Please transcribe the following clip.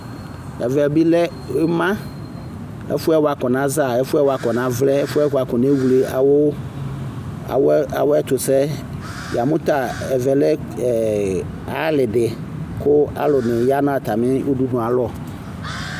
Ɛvɛ bi lɛ ima ɛfuɛ wakɔna za ɛfuɛ wakɔna vlɛ ɛfuɛ wakɔna wle awɛtusɛ yamu ta ɛvɛ lɛ alidi kualu yanu atami udunu ayalɔ